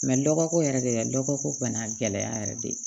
dɔgɔko yɛrɛ gɛlɛya dɔgɔ ko bana gɛlɛya yɛrɛ de ye